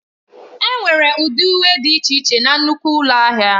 Enwere ụdị uwe dị iche iche na nnukwu ụlọ ahịa.